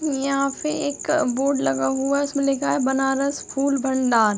यहाँ पे एक बोर्ड लगा हुआ। उसमे लिखा है बनारस फूल भंडार।